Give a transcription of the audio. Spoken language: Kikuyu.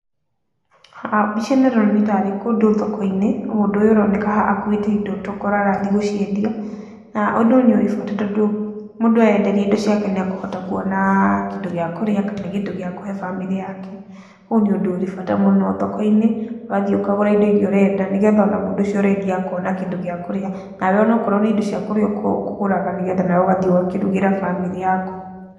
Haha mbica ĩno nĩ ta rĩ kũndũ thoko-inĩ, na mũndũ ũyũ ũroneka haha akuĩte indo tokorwo arathiĩ gũciendia. Na ũndũ ũyũ ũrĩ bata, tondũ mũndũ endagia ĩndo ciake nĩ ekũhota kuona kĩndũ gĩa kũrĩa, kana kĩndũ gĩa kũhe bamĩrĩ yake. Ũyũ nĩ ũndũ ũrĩ bata mũno thoko-inĩ, wathiĩ ũkagũra indo iria ũrenda, nĩgetha ona mũndũ ũcio ũrendia akona kĩndũ gĩa kũrĩa, nawe ona okorwo nĩ indo cia kũrĩa ũkũgũraga, nĩgetha nawe ugathiĩ ũgakĩrugĩra bamĩrĩ yaku.